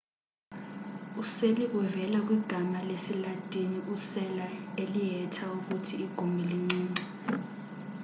useli uvela kwigama lesi-latin u-cella elihetha ukuthi igumbi lincinci